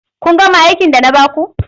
Kun gama aikin da na ba ku.